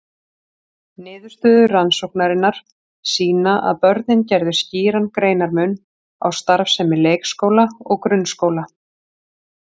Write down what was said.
Niðurstöður rannsóknarinnar sýna að börnin gerðu skýran greinarmun á starfsemi leikskóla og grunnskóla.